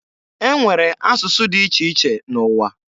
E nwere asụsụ dị iche iche n'ụwa.